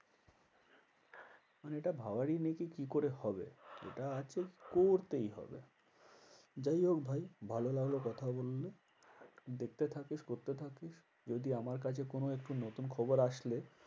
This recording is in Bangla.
মানে এটা ভাবারই নেই যে কি করে হবে? এটা আছে করতেই হবে। যাই হোক ভাই ভালো লাগলো কথা বলে দেখতে থাকিস করতে থাকিস। যদি আমার কাছে কোনো একটু নতুন খবর আসলে